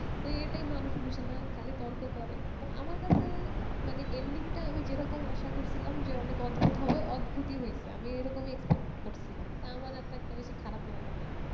এটাই মানুষ বোঝে না খালি তর্ক করে তো আমার কাছে মানে ending টা আমি যেরকম আশা করছি যে অনেক অদ্ভুত হবে অদ্ভুতী হয়েছে আমি এরকমই expect করেছিলাম তা আমার একটা বেশি খারাপ লাগেনি